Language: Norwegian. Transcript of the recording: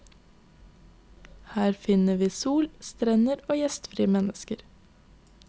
Her finner vi sol, strender og gjestfrie mennesker.